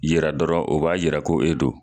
yira dɔrɔn o b'a yira ko e do.